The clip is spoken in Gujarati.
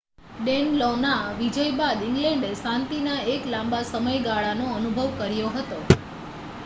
ડેનલોનાં વિજય બાદ ઇંગ્લેન્ડે શાંતિના એક લાંબા સમયગાળાનો અનુભવ કર્યો હતો